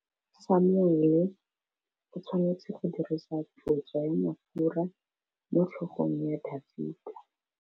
Samuele o tshwanetse go dirisa tlotsô ya mafura motlhôgong ya Dafita.